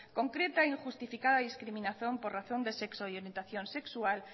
concreta e injustificada discriminación por razón de sexo y orientación sexual